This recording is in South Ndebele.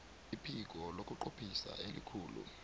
iphiko lokunqophisa elikhulu